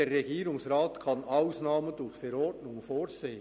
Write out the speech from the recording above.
«Der Regierungsrat kann Ausnahmen durch Verordnung vorsehen.